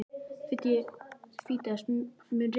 Fídes, mun rigna í dag?